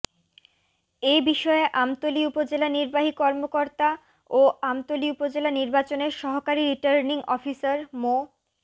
এ বিষয়ে আমতলী উপজেলা নির্বাহী কর্মকর্তা ও আমতলী উপজেলা নির্বাচনের সহকারী রিটার্নিং অফিসার মো